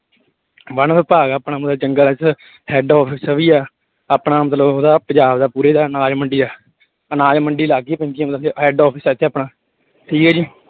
One ਵਿਭਾਗ ਆਪਣਾ ਪੂਰਾ ਜੰਗਲ ਆ ਇੱਥੇ head office ਵੀ ਆ, ਆਪਣਾ ਮਤਲਬ ਉਹਦਾ ਪੰਜਾਬ ਦਾ ਪੂਰੇ ਦਾ ਅਨਾਜ ਮੰਡੀ ਆ, ਅਨਾਜ ਮੰਡੀ head office ਆ ਇੱਥੇ ਆਪਣਾ, ਠੀਕ ਹੈ ਜੀ।